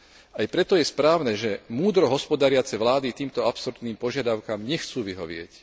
Aj preto je správne, že múdro hospodáriace vlády týmto absurdným požiadavkám nechcú vyhovieť.